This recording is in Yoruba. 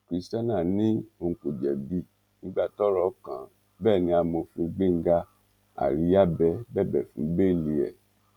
christianah ní òun kò jẹbi nígbà tọrọ kàn án bẹẹ ni amòfin gbéńgá àríyábẹ bẹbẹ fún bẹẹlì ẹ